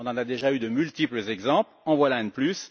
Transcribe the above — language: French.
On en a déjà eu de multiples exemples, en voilà un de plus.